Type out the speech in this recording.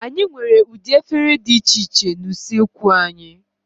Anyị nwere ụdị efere dị iche iche na usoekwu anyị.